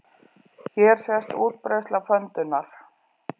Hér sést útbreiðsla pöndunnar.